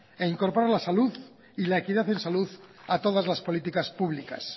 e incorporar la salud y la equidad en salud a todas las políticas públicas